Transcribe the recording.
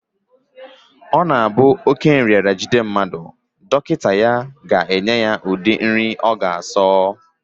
Ọ na-abụ oké nrịanrịa jide mmadụ, dọkịta ya ga-aga ya ụdị nri ọ ga-asọ